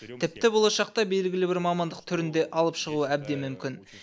тіпті болашақта белгілі бір мамандық түрін де алып шығуы әбден мүмкін